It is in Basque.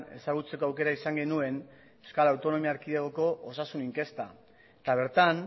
ezagutzeko aukera izan genuen euskal autonomia erkidegoko osasun inkesta eta bertan